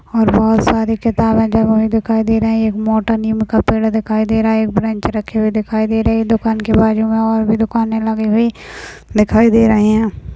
और बहुत सारी किताबे दिखाई दे रही है एक मोटा नीम का पेड़ दिखाई दे रहा है बेंच रखी दिखाई दे रही है दुकान के बाजू में और दुकाने लगी हुई दिखाई दे रही है।